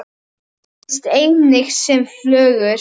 Finnst einnig sem flögur.